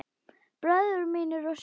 Bræður mínir og systur.